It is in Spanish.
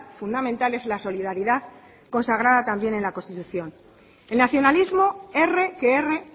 fundamental es la solidaridad consagrada también en la constitución el nacionalismo erre que erre